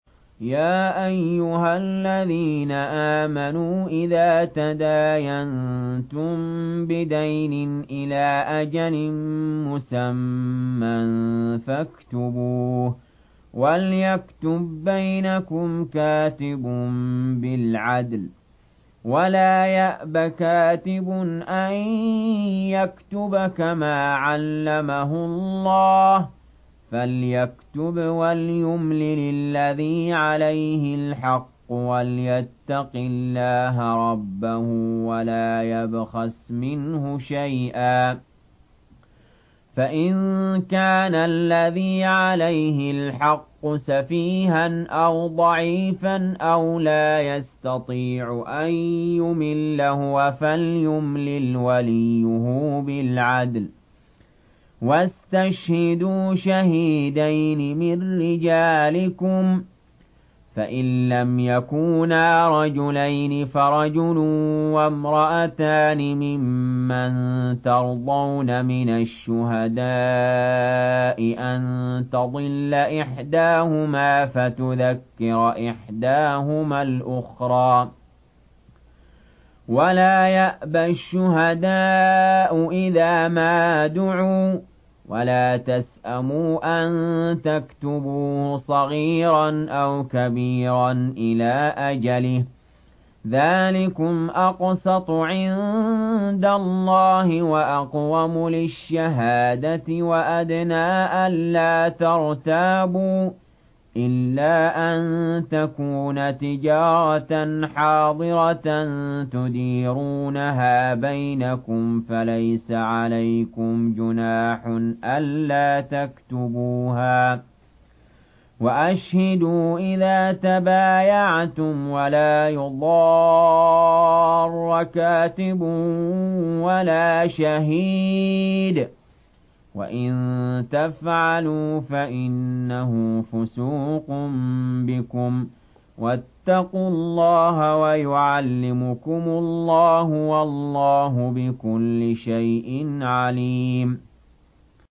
يَا أَيُّهَا الَّذِينَ آمَنُوا إِذَا تَدَايَنتُم بِدَيْنٍ إِلَىٰ أَجَلٍ مُّسَمًّى فَاكْتُبُوهُ ۚ وَلْيَكْتُب بَّيْنَكُمْ كَاتِبٌ بِالْعَدْلِ ۚ وَلَا يَأْبَ كَاتِبٌ أَن يَكْتُبَ كَمَا عَلَّمَهُ اللَّهُ ۚ فَلْيَكْتُبْ وَلْيُمْلِلِ الَّذِي عَلَيْهِ الْحَقُّ وَلْيَتَّقِ اللَّهَ رَبَّهُ وَلَا يَبْخَسْ مِنْهُ شَيْئًا ۚ فَإِن كَانَ الَّذِي عَلَيْهِ الْحَقُّ سَفِيهًا أَوْ ضَعِيفًا أَوْ لَا يَسْتَطِيعُ أَن يُمِلَّ هُوَ فَلْيُمْلِلْ وَلِيُّهُ بِالْعَدْلِ ۚ وَاسْتَشْهِدُوا شَهِيدَيْنِ مِن رِّجَالِكُمْ ۖ فَإِن لَّمْ يَكُونَا رَجُلَيْنِ فَرَجُلٌ وَامْرَأَتَانِ مِمَّن تَرْضَوْنَ مِنَ الشُّهَدَاءِ أَن تَضِلَّ إِحْدَاهُمَا فَتُذَكِّرَ إِحْدَاهُمَا الْأُخْرَىٰ ۚ وَلَا يَأْبَ الشُّهَدَاءُ إِذَا مَا دُعُوا ۚ وَلَا تَسْأَمُوا أَن تَكْتُبُوهُ صَغِيرًا أَوْ كَبِيرًا إِلَىٰ أَجَلِهِ ۚ ذَٰلِكُمْ أَقْسَطُ عِندَ اللَّهِ وَأَقْوَمُ لِلشَّهَادَةِ وَأَدْنَىٰ أَلَّا تَرْتَابُوا ۖ إِلَّا أَن تَكُونَ تِجَارَةً حَاضِرَةً تُدِيرُونَهَا بَيْنَكُمْ فَلَيْسَ عَلَيْكُمْ جُنَاحٌ أَلَّا تَكْتُبُوهَا ۗ وَأَشْهِدُوا إِذَا تَبَايَعْتُمْ ۚ وَلَا يُضَارَّ كَاتِبٌ وَلَا شَهِيدٌ ۚ وَإِن تَفْعَلُوا فَإِنَّهُ فُسُوقٌ بِكُمْ ۗ وَاتَّقُوا اللَّهَ ۖ وَيُعَلِّمُكُمُ اللَّهُ ۗ وَاللَّهُ بِكُلِّ شَيْءٍ عَلِيمٌ